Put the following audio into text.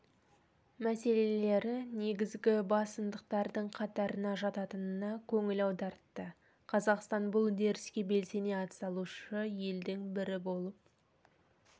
мәселелері негізгі басымдықтардың қатарына жататынына көңіл аудартты қазақстан бұл үдеріске белсене атсалысушы елдің бірі болып